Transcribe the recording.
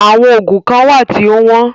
Àwọn oògùn kán wà tí o wọ́n.